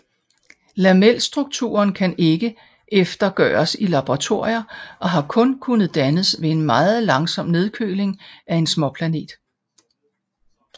Lamelstrukturen kan ikke eftergøres i laboratorier og har kun kunnet dannes ved en meget langsom nedkøling af en småplanet